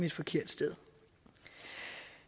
et forkert sted